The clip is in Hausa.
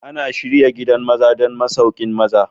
Ana shirya gidan maza don masauƙin maza.